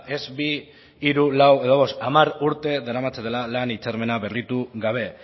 ez bi hiru lau edo bost hamar urte daramatzatela lan hitzarmena berritu gabe